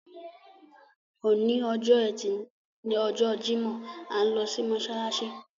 Òní ọjọ́ ẹtí lọjọ́ Jímọ̀, à ń lọ sí mọ́ṣáláṣí.